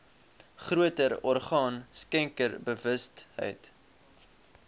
groter orgaan skenkersbewustheid